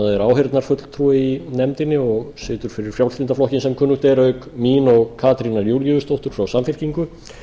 er áheyrnarfulltrúi í nefndinni og situr fyrir frjálslynda flokkinn sem kunnugt er auk mín og katrínar júlíusdóttur frá samfylkingu